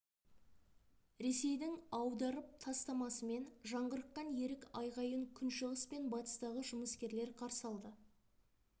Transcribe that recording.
ресейдің аударып тастамасымен жаңғырыққан ерік айғайын күншығыс пен батыстағы жұмыскерлер қарсы алды